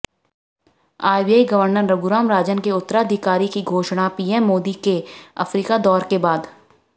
RBI governor Raghuram Rajan के उत्तराधिकारी की घोषणा पीएम मोदी के अफ्रीका दौरे के बाद